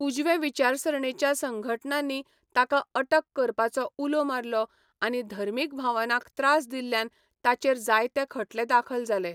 उजवे विचारसरणेच्या संघटनांनी ताका अटक करपाचो उलो मारलो आनी धर्मीक भावनांक त्रास दिल्ल्यान ताचेर जायते खटले दाखल जाले.